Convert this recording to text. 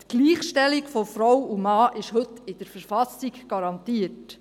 Die Gleichstellung von Frau und Mann ist heute in der Verfassung garantiert.